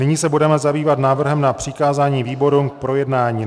Nyní se budeme zabývat návrhem na přikázání výborům k projednání.